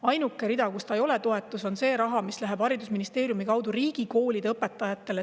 Ainuke rida, kus see ei ole toetus, on see raha, mis läheb haridusministeeriumi kaudu riigikoolide õpetajatele.